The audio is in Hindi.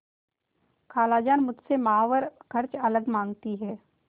खालाजान मुझसे माहवार खर्च अलग माँगती हैं